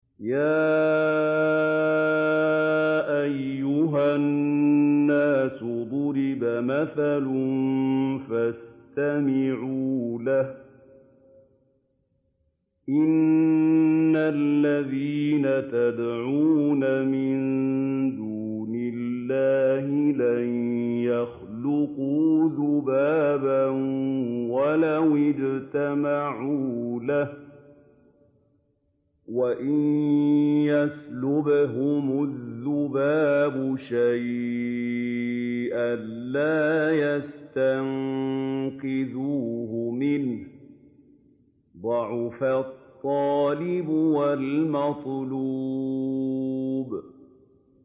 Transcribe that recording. يَا أَيُّهَا النَّاسُ ضُرِبَ مَثَلٌ فَاسْتَمِعُوا لَهُ ۚ إِنَّ الَّذِينَ تَدْعُونَ مِن دُونِ اللَّهِ لَن يَخْلُقُوا ذُبَابًا وَلَوِ اجْتَمَعُوا لَهُ ۖ وَإِن يَسْلُبْهُمُ الذُّبَابُ شَيْئًا لَّا يَسْتَنقِذُوهُ مِنْهُ ۚ ضَعُفَ الطَّالِبُ وَالْمَطْلُوبُ